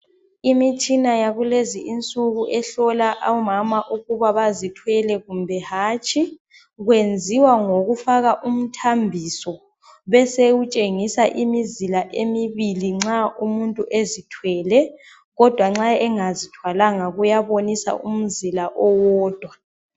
Imitshina yakulezi insuku ehlola omama ukuthi bazithwele kumbe hatshi. Kwenziwa ngokufaja umthambiso. Besekufaka imizila embili nxa ezithwele, kodwa nxa engazithwakanga. Kuyafaka umzila owodwa.